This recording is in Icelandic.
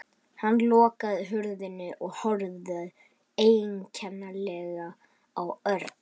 Hann lokaði hurðinni og horfði einkennilega á Örn.